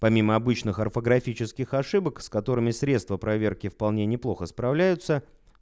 помимо обычных орфографических ошибок с которыми средства проверки вполне неплохо справляются